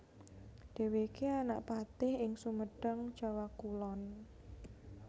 Dhèwèké anak patih ing Sumedang Jawa Kulon